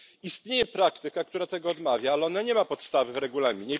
Istnieje praktyka, która tego odmawia, ale ona nie ma podstawy w regulaminie.